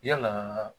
Yalaa